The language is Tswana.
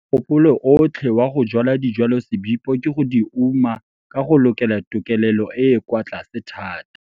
Mogopolo otlhe wa go jwala dijwalosebipo ke go di uma ka go lokela tokelelo e e kwa tlase thata.